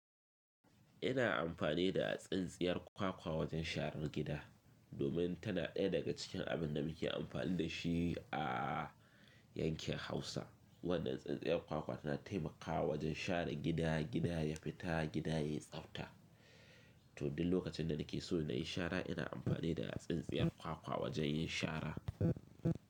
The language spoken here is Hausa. Ina amfani da tsintsiyar kwakwa wajen sharar gida, domin tana ɗaya daga cikin abin da muke amfani da shi a yankin Hausa. Wannan tsintsiyar kwakwa tana taimakawa wajen share gida, gida ya fita, gida yai tsafta. To duk lokacin da nake so na yi shara, ina amfani da tsintsiyar kwakwa wajen yin shara.